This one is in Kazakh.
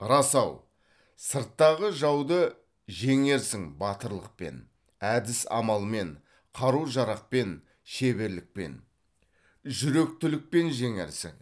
рас ау сырттағы жауды жеңерсің батырлықпен әдіс амалмен қару жарақпен шеберлікпен жүректілікпен жеңерсің